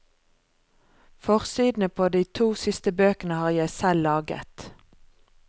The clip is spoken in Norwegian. Forsidene på de to siste bøkene har jeg selv laget.